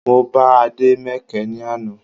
Mo bá Ade mẹkẹ ní àná